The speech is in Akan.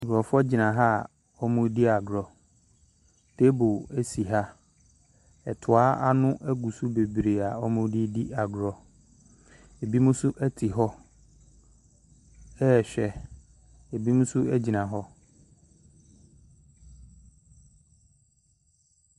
Nkurɔfoɔ gyina ha wɔredi agorɔ, table si ha, toa ano gu so bebree a wɔde redi agorɔ, binom nso. te hɔ ɛrehwɛ, binom nso gyina hɔ.